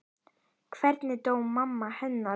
Hvernig dó mamma hennar?